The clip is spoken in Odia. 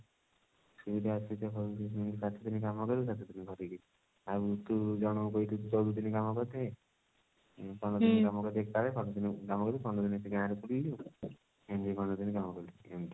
ସେଇଟା ସାତ ଦିନ କାମ କଲୁ ସାତ ଦିନ ଘରେ ଆଉ ତୁ ଜଣଙ୍କୁ କହିଥିବୁ ଚଉଦ ଦିନ କାମ କରିଥିବି ପନ୍ଦର ଦିନ କାମ କରିବି ଏକାଳେ ପନ୍ଦର ଦିନ କାମ କରିବି ପନ୍ଦର ଦିନ ଗାଁ ରେ ବୁଲିଲୁ ଆଉ ପନ୍ଦର ଦିନ କାମ କଲୁ ଏମତି